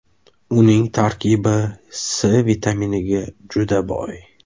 Uning tarkibi C vitaminiga juda boy.